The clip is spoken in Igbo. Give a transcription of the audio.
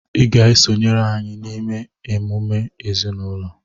ị ga-esonyere anyị n'ịme emume ezinụlọ!